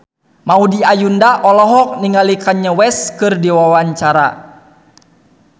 Maudy Ayunda olohok ningali Kanye West keur diwawancara